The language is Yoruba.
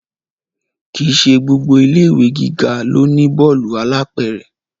Kì í ṣe gbogbo ilé ìwé gíga ló ní bọ́ọ̀lù alápẹ̀rẹ̀